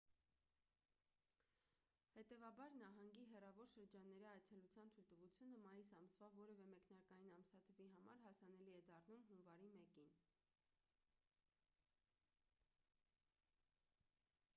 հետևաբար նահանգի հեռավոր շրջանների այցելության թույլտվությունը մայիս ամսվա որևէ մեկնարկային ամսաթվի համար հասանելի է դառնում հունվարի 1-ին